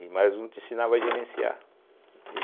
E mais um te ensinava a gerenciar.